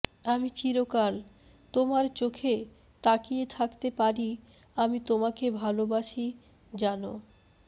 আমি চিরকাল তোমার চোখে তাকিয়ে থাকতে পারি আমি তোমাকে ভালবাসি জান